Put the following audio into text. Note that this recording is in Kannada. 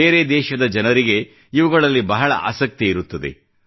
ಬೇರೆ ದೇಶದ ಜನರಿಗೆ ಇವುಗಳಲ್ಲಿ ಬಹಳ ಆಸಕ್ತಿ ಇರುತ್ತದೆ